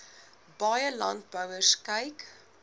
baie landbouers kyk